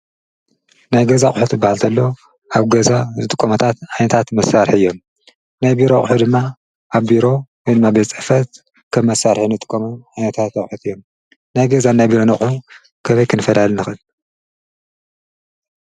ናይ ገዛ አቑሑት ክባሃል ከሎ አብ ገዛ ዝጥቀምሉ ዓይነታት መሳርሒ እዩ። ናይ ቢሮ አቁሑ ድማ አብ ቢሮ ወይ ድማ ቤት ፅሕፈት ከም መሳርሒ እንጥቀመሉ ዓይነታት አቁሑ እዩ። ናይ ገዛን ናይ ቢሮን አቁሑ ከመይ ክንፈላሊ ንክእል?